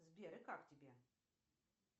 сбер и как тебе